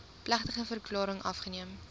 plegtige verklaring afgeneem